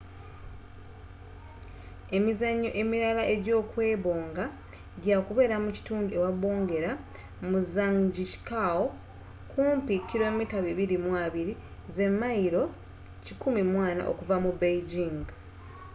emizannyo emirala egy'okwebonga gyakubeera mu kitundu ewabongerwa mu zhangjiakou kumpi 220km mayilo 140 okuva mu beijing